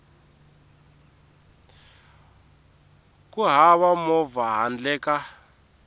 ku hava movha handle ka